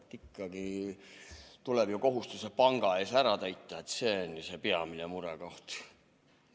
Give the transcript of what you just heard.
Aga ikkagi tuleb ju kohustused panga ees ära täita, see on peamine murekoht.